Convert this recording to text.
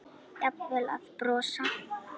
Jafnvel að brosa.